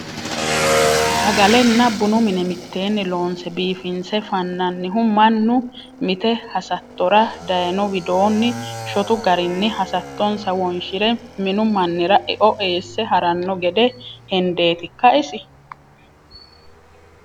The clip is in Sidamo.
Sagalenna bunu mine mitteenni loonse biifinse fananihu mannu mite hasattora daayino widooni shotu garinni hasattonsa wonshire minu mannira eo eesse harano gede hendetikka isi ?